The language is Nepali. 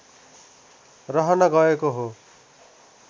रहन गएको हो